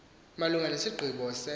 malunga nesigqibo se